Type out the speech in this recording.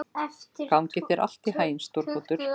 Gangi þér allt í haginn, Stórólfur.